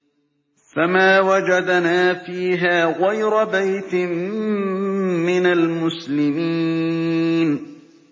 فَمَا وَجَدْنَا فِيهَا غَيْرَ بَيْتٍ مِّنَ الْمُسْلِمِينَ